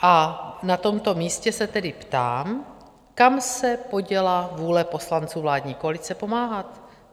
A na tomto místě se tedy ptám, kam se poděla vůle poslanců vládní koalice pomáhat?